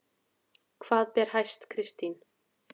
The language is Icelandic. Hvað ber hæst Kristín?